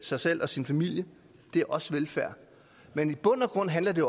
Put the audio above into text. sig selv og sin familie er også velfærd men i bund og grund handler det